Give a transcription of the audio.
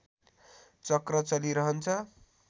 चक्र चलिरहन्छ